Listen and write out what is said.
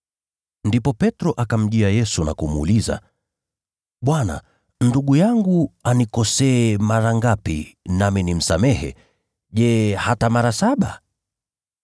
Ndipo Petro akamjia Yesu na kumuuliza, “Bwana, ndugu yangu anikosee mara ngapi nami nimsamehe? Je, hata mara saba?”